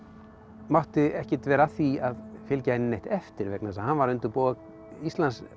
mátti ekkert vera að því að fylgja henni neitt eftir vegna þess að hann var að undirbúa Íslands og